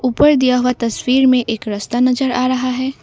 ऊपर दिया हुआ तस्वीर में एक रस्ता नजर आ रहा है।